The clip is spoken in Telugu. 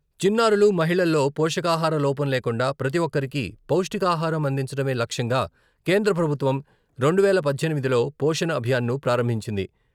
చిన్నారులు, మహిళల్లో పోషకాహార లోపం లేకుండా ప్రతి ఒక్కరికి పౌష్టికాహారం అందించడమే లక్ష్యంగా కేంద్ర ప్రభుత్వం రెండువేల పద్దెనిమిదిలో పోషణ్ అభియాను ప్రారంభించింది.